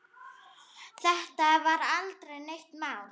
Þetta var aldrei neitt mál.